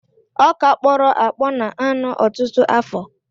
Ọkà kpọrọ akpọ na-anọ ọtụtụ afọ.